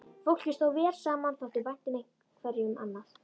Fólkið stóð vel saman, þótti vænt hverju um annað.